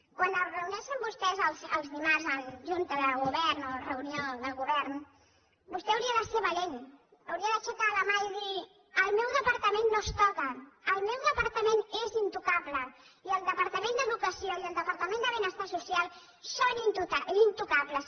quan es reuneixen vostès els dimarts en junta de govern o reunió de govern vostè hauria de ser valent hauria d’aixecar la mà i dir el meu departament no es toca el meu departament és intocable i el departament d’educació i el departament de benestar social són intocables